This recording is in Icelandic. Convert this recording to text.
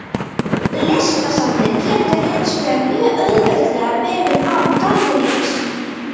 Listasafnið getur hins vegar mjög auðveldlega verið án gallerísins.